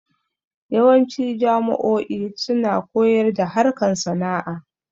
Yawanci jamo'o'i suna koyar da harkan sana'a